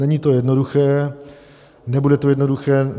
Není to jednoduché, nebude to jednoduché.